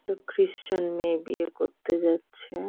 একটা ক্রিস্টিয়ান মেয়ে বিয়ে করতে যাচ্ছে ।